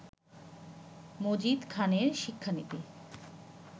মজিদ খানের শিক্ষানীতি